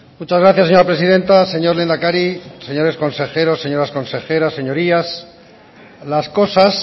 muchas gracias señora presidenta señor lehendakari señores consejeros señoras consejeras señorías las cosas